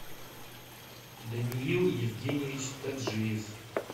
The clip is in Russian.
даниил евгеньевич таджиев